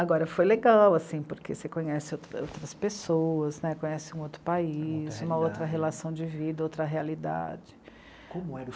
Agora, foi legal, porque você conhece outras pessoas né, conhece um outro país, uma outra relação de vida, outra realidade. Como